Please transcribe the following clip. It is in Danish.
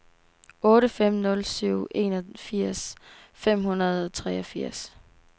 otte fem nul syv enogfirs fem hundrede og treogfirs